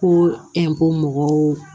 Ko ko mɔgɔw